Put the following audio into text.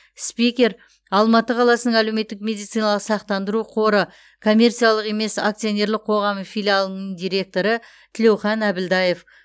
спикер алматы қаласының әлеуметтік медициналық сақтандыру қоры коммерциялық емес акционерлік қоғамының филиалының директоры тілеухан әбілдаев